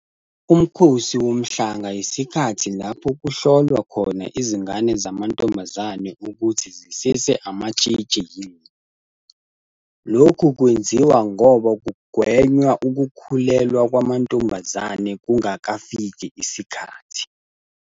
Umkhosi woMhlanga isikhathi lapho kuhlolwa khona izingane zamantombazane ukuthi zisese amatshitshi yini. Lokhu kwenziwa ngoba kungwenya ukukhulelwa kwamantombazane kungakafiki isikhathi.